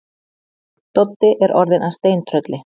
Doddi er orðinn að steintrölli.